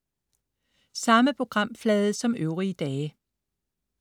Samme programflade som øvrige dage